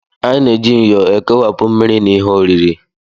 Anyị na-eji myo ekewapụ mmiri mmiri na ihe oriri